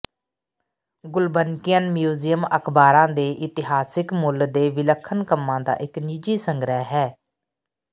Gulbenkian museum ਅਖ਼ਬਾਰਾਂ ਦੇ ਇਤਿਹਾਸਕ ਮੁੱਲ ਦੇ ਵਿਲੱਖਣ ਕੰਮਾਂ ਦਾ ਇਕ ਨਿੱਜੀ ਸੰਗ੍ਰਹਿ ਹੈ